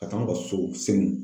Ka taa n bila so senu.